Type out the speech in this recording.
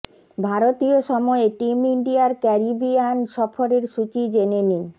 ভারতীয় সময়ে টিম ইন্ডিয়ার ক্যারিবিয়ান সফরের সূচি জেনে নিন